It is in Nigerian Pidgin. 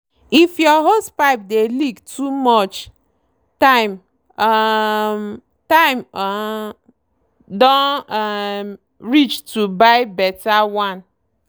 if your hosepipe dey leak too much time um time um don um reach to buy better one.